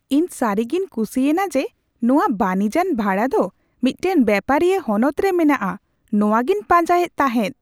ᱤᱧ ᱥᱟᱹᱨᱤᱜᱮᱧ ᱠᱩᱥᱤ ᱮᱱᱟ ᱡᱮ ᱱᱚᱶᱟ ᱵᱟᱹᱱᱤᱡᱟᱱ ᱵᱷᱟᱲᱟ ᱫᱚ ᱢᱤᱫᱴᱟᱝ ᱵᱮᱯᱟᱨᱤᱭᱟᱹ ᱦᱚᱱᱚᱛ ᱨᱮ ᱢᱮᱱᱟᱜᱼᱟ ᱾ ᱱᱚᱶᱟ ᱜᱮᱧ ᱯᱟᱸᱡᱟᱭᱮᱫ ᱛᱟᱦᱮᱸᱫ ᱾